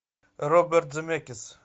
роберт земекис